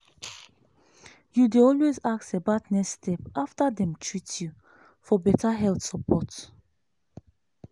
you dey always ask about next step after dem treat you for better health support.